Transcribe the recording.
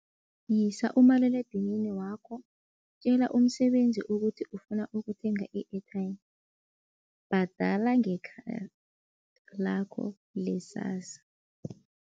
Yisa umaliledinini wakho, tjela umsebenzi ukuthi ufuna ukuthenga i-airtime, bhadala nge-card lakho le-SASSA.